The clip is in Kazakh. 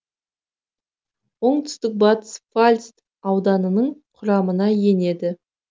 оңтүстік батыс пфальц ауданының құрамына енеді